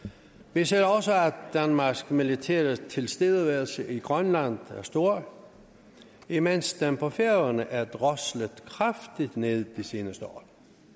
vi ser også at danmarks militære tilstedeværelse i grønland er stor imens den på færøerne er droslet kraftigt ned de seneste år